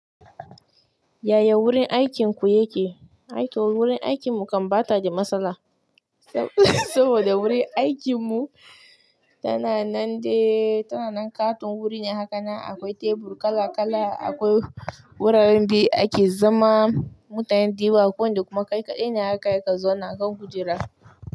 Yaya wurin aikinku yake? Wurin aikinmu kan ɓata da matsala saboda wurin aikinmu tana nan ƙaton wuri ne haka, akwai tebur kala kala, akwai wuraren de ake zama, mutanen dewa ko da kuma ƙaiƙaɗai ne haka ya ka zo na kan kujera.